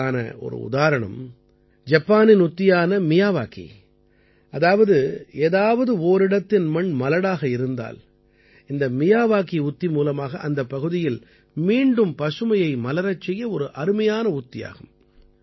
இதற்கான ஒரு உதாரணம் ஜப்பானின் உத்தியான மியாவாகி அதாவது ஏதாவது ஓரிடத்தின் மண் மலடாக இருந்தால் இந்த மியாவாகி உத்தி மூலமாக அந்தப் பகுதியில் மீண்டும் பசுமையை மலரச் செய்ய ஒரு அருமையான உத்தியாகும்